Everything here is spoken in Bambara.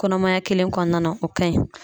Kɔnɔmaya kelen kɔnɔna na, o ka ɲi.